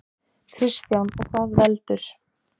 Kristján: Og hvað veldur?